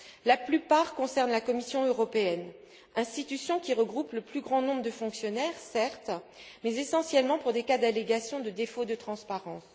La plupart concernent la Commission européenne, institution qui regroupe le plus grand nombre de fonctionnaires, certes, mais essentiellement pour des cas d'allégations de défaut de transparence.